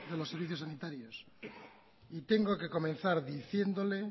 los servicios sanitarios y tengo que comenzar diciéndole